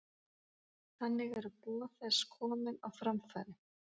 Þannig eru boð þess komin á framfæri.